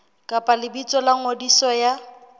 kapa lebitso la ngodiso ya